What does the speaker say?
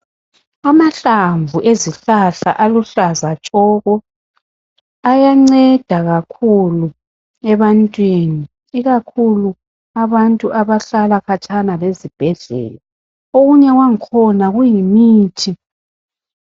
Amahlamvu ezihlahla aluhlaza tshoko, ayanceda kakhulu ebantwini, ikukhulu abantu abahlala khatshana lezibhedlela. Okunye kwakhona kuyimithi.